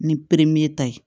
Ni peremineta ye